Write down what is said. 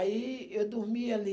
Aí eu dormia ali.